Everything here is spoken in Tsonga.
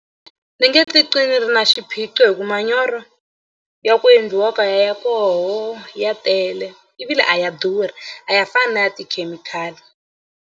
Ni nge titwi ndzi ri na xiphiqo hi ku manyoro ya ku endliwa kaya ya koho ya tele ivile a ya durha a ya fani na ya tikhemikhali.